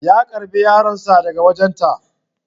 Ya karɓe yaronsa daga wajen ta